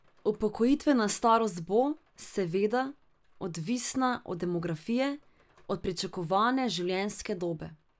Upokojitvena starost bo, seveda, odvisna od demografije, od pričakovane življenjske dobe.